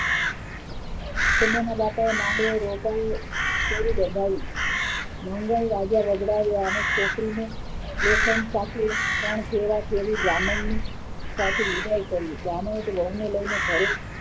સુમનના બાપાએ માંગલે રોકાઈ દોડાવી મંગલ રાજા રજડાવ્યા અને છોકરીને લેખન સાથે ત્રણ ફેરા ફેરવીને જાનનની સાથે વિદાય કરી જાનોએ વહુને લઈને ઘરે